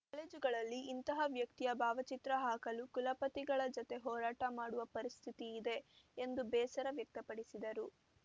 ಕಾಲೇಜುಗಳಲ್ಲಿ ಇಂತಹ ವ್ಯಕ್ತಿಯ ಭಾವಚಿತ್ರ ಹಾಕಲು ಕುಲಪತಿಗಳ ಜತೆ ಹೋರಾಟ ಮಾಡುವ ಪರಿಸ್ಥಿತಿಯಿದೆ ಎಂದು ಬೇಸರ ವ್ಯಕ್ತಪಡಿಸಿದರು